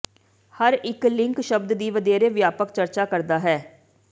ਹਰ ਇੱਕ ਲਿੰਕ ਸ਼ਬਦ ਦੀ ਵਧੇਰੇ ਵਿਆਪਕ ਚਰਚਾ ਕਰਦਾ ਹੈ